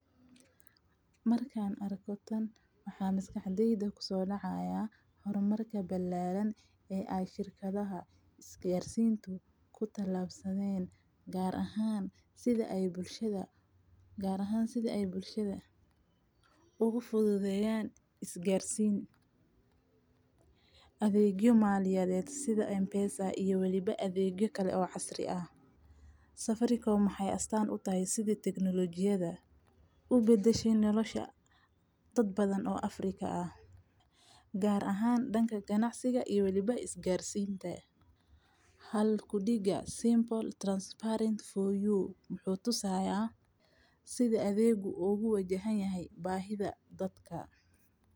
Marka arkoo tan waxaa miskixdeeda ku soo dhacaya horumarka balaaran ee ay shirkadaha isgaarsiintu ku tallaabsadeen gaar ahaan sida ay bulshada, gaar ahaan sida ay bulshada ugu fududeyaan, isgaarsiin adeegyo maaliyeed sida Mpesa iyo weliba adeegyo kale oo casri ah. Safaricom u maxay astaan u tahay sidii taknolojiheda u beddesho nolosha dad badan oo Afrika ah? Gaar ahaan dhanka ganacsiga iyo weliba isgaarsiinta. Hal ku dhiga simple transparent for you wuxuu tusaaya sida adeeggu oogu wajahanyahay baahida dadka.